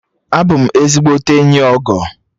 Abụ m ezigbote enyi Ogo